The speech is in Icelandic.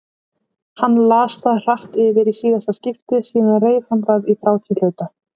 Hann las það hratt yfir í síðasta skipti, síðan reif hann það í þrjátíu hluta.